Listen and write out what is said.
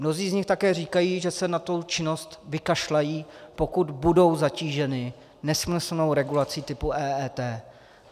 Mnozí z nich také říkají, že se na tu činnost vykašlou, pokud budou zatíženi nesmyslnou regulací typu EET.